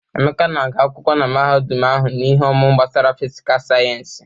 Emeka na-agu akwụkwọ na mahadum ahụ n'ihe ọmụmụ gbasara fịsịkà sayensị.